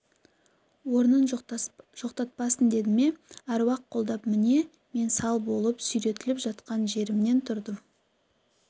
орнын жоқтатпасын деді ме аруақ қолдап міне мен сал болып сүйретіліп жатқан жерімнен тұрдым